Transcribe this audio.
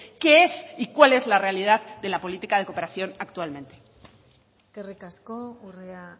qué es y cuál es la realidad de la política de cooperación actualmente eskerrik asko urrea